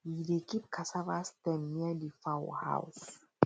we dey keep cassava stem near the fowl house